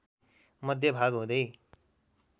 मध्य भाग हुँदै